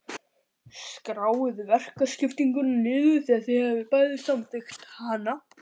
Skráið verkaskiptinguna niður þegar þið hafið bæði samþykkt hana.